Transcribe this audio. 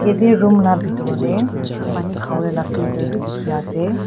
ate room laga bithor tae pani khavo lae laga filter vi dekhi ase.